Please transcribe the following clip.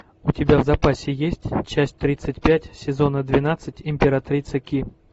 у тебя в запасе есть часть тридцать пять сезона двенадцать императрица ки